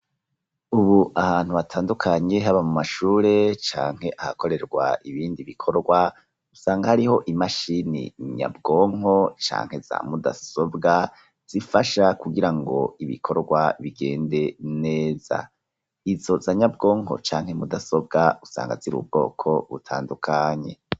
Ubu ahantu hatandukanye haba mu mashure canke ahakorerwa ibindi bikorwa usanga hariho imashini nyabwonko canke za mudasobwa zifasha kugira ngo ibikorwa bigende neza, izo za nyabwonko canke mudasobwa usanga ziri ubwoko butandukanye.